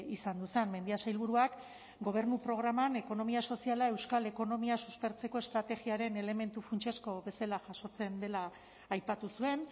izan zen mendia sailburuak gobernu programan ekonomia soziala euskal ekonomia suspertzeko estrategiaren elementu funtsezko bezala jasotzen dela aipatu zuen